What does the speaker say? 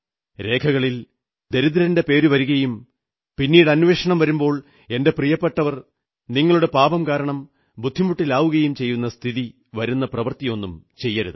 രേഖകളിൽ ദരിദ്രന്റെ പേരു വരുകയും പിന്നീട് അന്വേഷണം വരുമ്പോൾ എന്റെ പ്രിയപ്പെട്ടവർ നിങ്ങളുടെ പാപം കാരണം ബുദ്ധിമുട്ടിലാവുകയും ചെയ്യുന്ന പ്രവർത്തിയൊന്നും ചെയ്യരുത്